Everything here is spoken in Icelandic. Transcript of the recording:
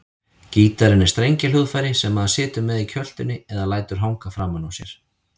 Gítarinn er strengjahljóðfæri sem maður situr með í kjöltunni eða lætur hanga framan á sér.